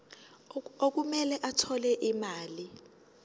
okumele athole imali